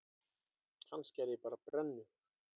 Kannski er ég bara brennu